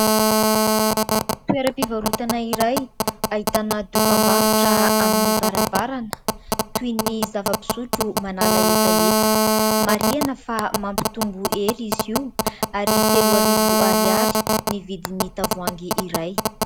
Toeram-pivarotana iray ahitana dokam-barotra amin'ny varavarana toy ny : zava-pisotro manala hetaheta ; marihana fa mampitombo kely izy io ary telo arivo ariary ny vidin'ny tavoahangy iray